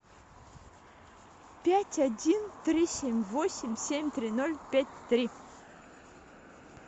пять один три семь восемь семь три ноль пять три